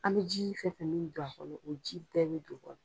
An bɛ ji fɛn fɛn min don a kɔnɔ o ji bɛɛ bɛ don